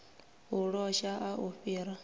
u losha a u fhiri